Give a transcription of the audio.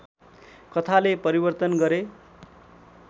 कथाले परिवर्तन गरे